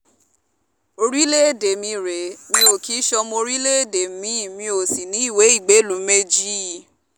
orílẹ̀‐èdè mi rèé mi ò kì í sọ́mọ orílẹ̀‐èdè mi-in mi ò sì níwèé ìgbélùú méjì